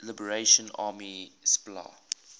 liberation army spla